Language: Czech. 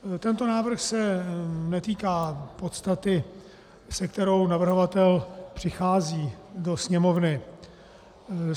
Tento návrh se netýká podstaty, s kterou navrhovatel přichází do Sněmovny.